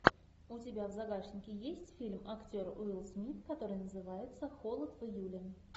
у тебя в загашнике есть фильм актер уилл смит который называется холод в июле